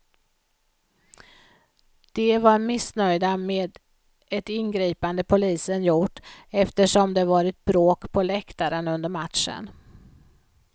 De var missnöjda med ett ingripande polisen gjort eftersom det varit bråk på läktaren under matchen.